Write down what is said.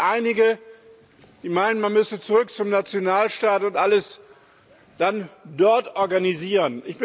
Es gibt einige, die meinen, man müsse zurück zum Nationalstaat und alles dann dort organisieren.